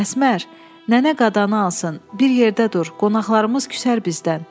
Əsmər, nənə qadanı alsın, bir yerdə dur, qonaqlarımız küsər bizdən.